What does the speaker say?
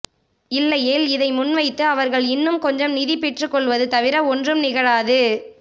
இல்லையேல் இதை முன்வைத்து அவர்கள் இன்னும் கொஞ்சம் நிதி பெற்றுக்கொள்வது தவிர ஒன்றும் நிகழாது